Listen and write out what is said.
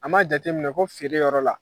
An m'a jateminɛ ko feere yɔrɔ la.